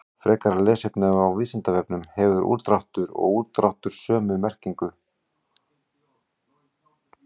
Frekara lesefni á Vísindavefnum: Hefur úrdráttur og útdráttur sömu merkingu?